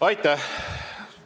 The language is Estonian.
Aitäh!